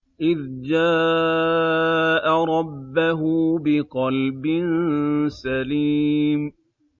إِذْ جَاءَ رَبَّهُ بِقَلْبٍ سَلِيمٍ